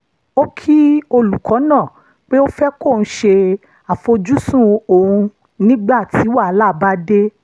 ó kí olùkọ́ náà pé ó fẹ́ kóun ṣe àfojúsùn òun nígbà tí wàhálà bá dé